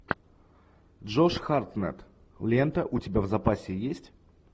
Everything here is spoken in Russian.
джош хартнетт лента у тебя в запасе есть